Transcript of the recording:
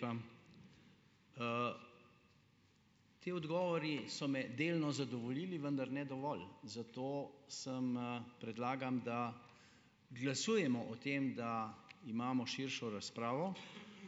Hvala lepa. Ti odgovori so me delno zadovoljili, vendar ne dovolj, zato sem, predlagam, da glasujemo o tem, da imamo širšo razpravo